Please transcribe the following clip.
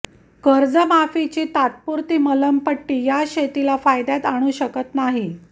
कर्जमाफीची तात्पुरती मलमपट्टी या शेतीला फायद्यात आणू शकत नाहीये